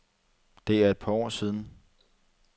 Det er et par år siden.